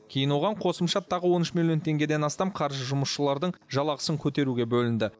кейін оған қосымша тағы он үш миллион теңгеден астам қаржы жұмысшылардың жалақысын көтеруге бөлінді